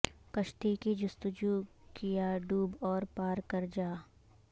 کشتی کی جستجو کیا ڈوب اور پار کر جا